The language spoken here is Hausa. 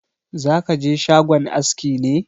Za ka je shagon aski ne?